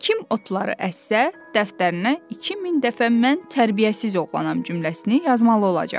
Kim otları əssə, dəftərinə 2000 dəfə mən tərbiyəsiz oğlanam cümləsini yazmalı olacaq.